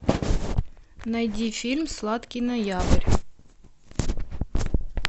найди фильм сладкий ноябрь